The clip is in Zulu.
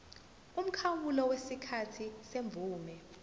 umkhawulo wesikhathi semvume